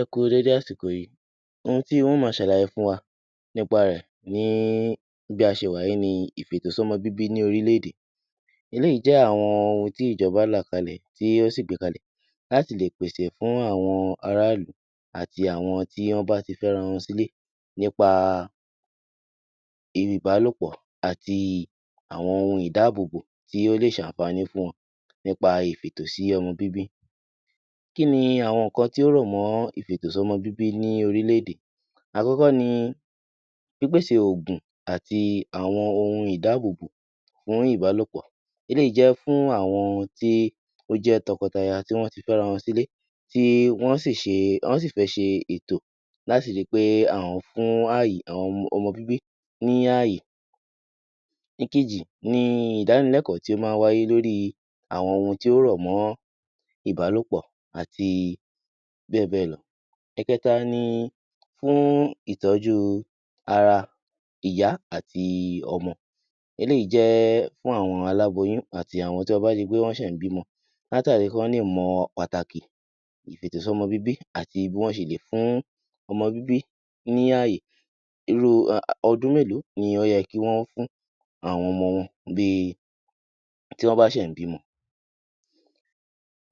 Ẹ kú dédé àsìkò yìí, ohun tí mó ma ṣàlàyé fún wa ni nípa rẹ̀ ni bí a ṣe wà ni ìfètòsọ́mọ bíbí ní orílé-èdè. Eléyìí jẹ́ àwọn ohun tí ìjọ́ba là kalẹ̀ tí ó sì gbé kalẹ̀ láti lè pèsè fún àwọn ará ìlú àti àwọn tí wọ́n bá ti fẹ́ ara wọn sílé nípa ibi ìbálòpọ̀ àti àwọn ohun ìdábóbó tí ó lè ṣe àǹfààní fún wọn nípa ìfètòsọ́mọ bíbí. Kí ni àwọn nǹkan tí ó rọ̀ mọ ìfètòsọ́mọ bíbí ní orílè-èdè, àkọ́kọ́ ni ìpèsè òògùn àti àwọn ohun ìdábóbó fún ìbálòpọ̀, eléyìí jẹ́ fún àwọn tí ó jẹ́ tọkọ taya tí wọ́n tí fẹ́ra wọn sílé tí wọ́n sì fẹ́ ṣe ètò láti rí pe àwọn fún ọmọ bíbí ní àyè. Ìkejì ni ìdánilẹ́kọ̀ọ́ tí ó máa ń wáyé lórí àwọn ohun tí ó rọ̀ mọ́ ìbálòpọ̀ àti bẹ́ẹ̀ bẹ́ẹ̀ lọ. Ẹ̀kẹ́ta ni fún ìtọ́jú ara ìyá àti ọmọ, eléyìí jẹ́ fún àwọn aláboyún àti àwọn tí ó ṣe wù pé wọ́n ṣẹ̀ ń bímọ látàrí kí wọ́n lè mọ pàtàkì ìfètòsọ́mọ bíbí àti bí wọ́n ṣe lè fún ọmọ bíbí ní àyè, irú ọdún mélòó ló yẹ kí wọn fún àwọn ọmọ wọn bí ti wọ́n bá ń ṣẹ̀ṣẹ̀ bímọ.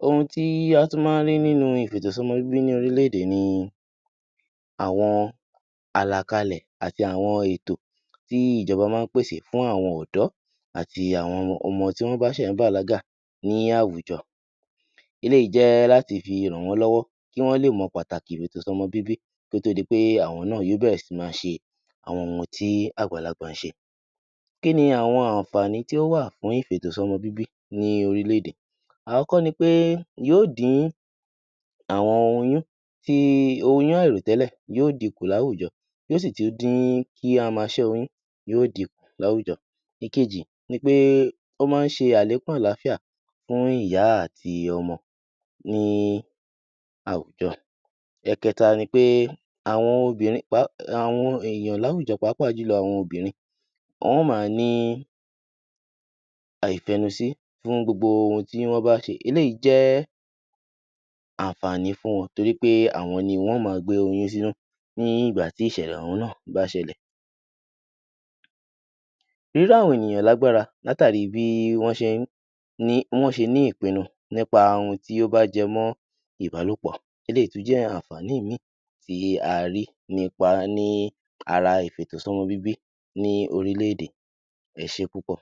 Ohun tí wọ́n tún máa ń rí nínú ìfètòsọ́mọ ní orílè-èdè ni àwọn àlàkalẹ̀ àti àwọn ètò tí ìjọ́ba máa ń pèsè fún àwọn ọ̀dọ́ àti àwọn ọmọ tí wọ́n bá ń ṣẹ̀ṣẹ̀ bàlágà ní àwùjọ eléyìí jẹ́ láti fi ràn wọ́n lọ́wọ́ kí wọ́n lé mọ̀ pàtàkì ìfètòsọ́mọ bíbí kí ó tó di pé àwọn náà yóò bẹ̀rẹ̀ sí ní ma ṣe àwọn ohun tí àgbàlagbà ń ṣe. Kí ni àwọn àǹfààní tí ó wà fún ìfètòsọ́mọ bíbí ní orílè-èdè. Àkọ́kọ́ ni pé yóò dín àwọn oyún àìrò tẹ́lẹ̀ yóò di kùn ní àwùjọ. Yóò sì tún dín kí a má ṣe oyún yóò di kùn láwùjọ. Ìkejì ni pé ó máa ń ṣe àlékún àlàáfíà fún ìyá àti ọmọ ní àwùjọ. Ẹ̀kẹ́ta ni pé àwọn èèyàn láwùjọ páapa jùlọ àwọn obìnrin wọ́n á ma ní àìfẹnu sí gbogbo ohun tí wọ́n bá ṣe, eléyìí jẹ́ àǹfààní fún wọn nítorí pé àwọn ni yóò ma gbé oyún sínú nígbà tí ìṣẹ̀lẹ̀ ohun náà bá ṣẹlẹ̀. Irú àwọn ènìyàn lágbára látàrí bí wọ́n ṣe ní ìpínu nípa ohun tí ó bá jọmọ́ ìbálòpọ̀, eléyìí tí ó jẹ́ àǹfààní ìmí tí a rí nípa ní ara ìfètòsọ́mọ bíbí ní orílè-èdè. Ẹ ṣé púpọ̀.